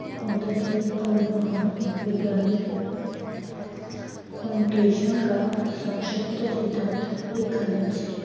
ਹੁੰਦਾ ਸੀ ਪਰ ਮਹਾਨ ਵਿਗਿਆਨਿਕ ਕਾ ਸਾਸ਼ਕਤ ਸਿਧਾਂਤ ਏ ਖੰਡਨ ਸੀ।